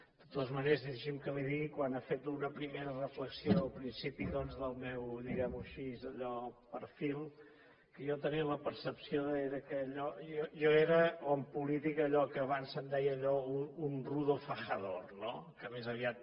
de totes maneres deixi’m que li digui quan ha fet una primera reflexió del principi doncs del meu diguem ho així allò perfil que jo tenia la percepció que jo era en política allò que abans se’n deia un rudo fajador no que més aviat